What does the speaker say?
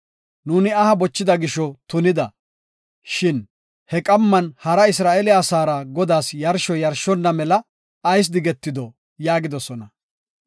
“Nuuni aha bochida gisho tunida, shin he qamman hara Isra7eele asaara Godaas yarsho yarshonna mela ayis digetido?” yaagidosona.